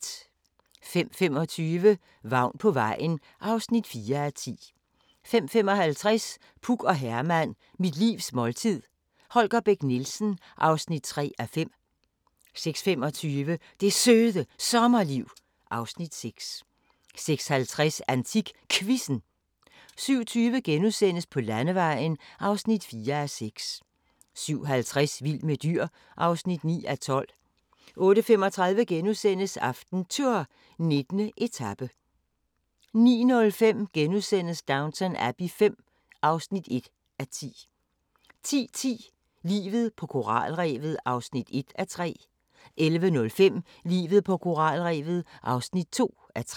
05:25: Vagn på vejen (4:10) 05:55: Puk og Herman – mit livs måltid – Holger Bech Nielsen (3:5) 06:25: Det Søde Sommerliv (Afs. 6) 06:50: AntikQuizzen 07:20: På Landevejen (4:6)* 07:50: Vild med dyr (9:12) 08:35: AftenTour: 19. etape * 09:05: Downton Abbey V (1:10)* 10:10: Livet på koralrevet (1:3) 11:05: Livet på koralrevet (2:3)